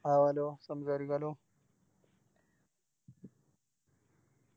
ആവാലോ സംസാരിക്കാലോ